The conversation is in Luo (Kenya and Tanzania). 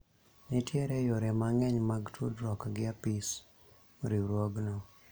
nitiere yore mang'eny mag tudruok gi apis riwruogno